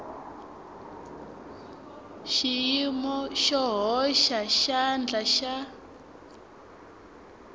xiyimo xo hoxa xandla xa